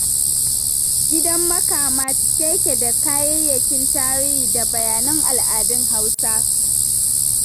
Gidan Makama cike yake da kayayyakin tarihi da bayanan al'adun Hausa.